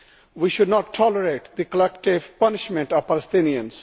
We should not tolerate the collective punishment of Palestinians.